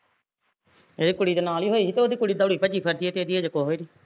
ਏਹ ਕੁੜੀ ਦੇ ਨਾਲ਼ ਹੀਂ ਹੋਈ ਸੀ ਤੇ ਉਹਦੀ ਕੁੜੀ ਦੋੜੀ ਭੱਜੀ ਫਿਰਦੀ ਐ ਤੇ ਇਹਦੀ ਅਜੇ ਕੁਸ਼ ਵੀ ਨੀ